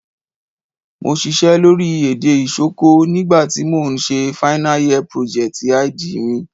Mo sisẹ́ lórí èdè Isoko nígbà ti mo n se final year project_id mi